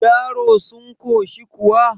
yaro sun koshi kuwa